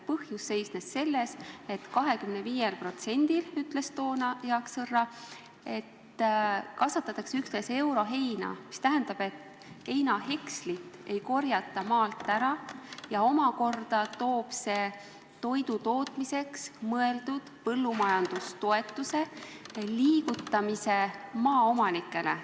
Põhjus seisnes selles, et 25%-l maast, ütles toona Jaan Sõrra, kasvatatakse üksnes euroheina, mis tähendab, et heinahekslit ei korjata kokku ja see omakorda toob kaasa selle, et toidu tootmiseks mõeldud põllumajandustoetus liigub maaomanikele.